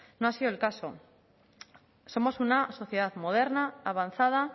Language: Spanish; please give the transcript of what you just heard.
no ha sido el caso somos una sociedad moderna avanzada